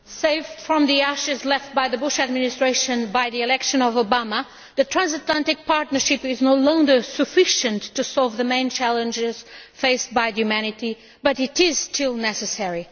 Mr President, saved from the ashes left by the Bush Administration by the election of Obama, the transatlantic partnership is no longer sufficient to solve the main challenges faced by humanity, but it is still necessary.